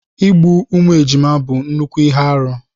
Igbu ụmụ ejima bụ nnukwu ihe arụ.